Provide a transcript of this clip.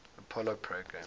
apollo program